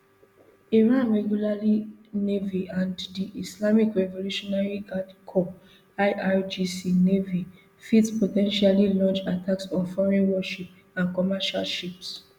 iran regular navy and di islamic revolutionary guard corps irgc navy fit po ten tially launch attacks on foreign warships and commercial ships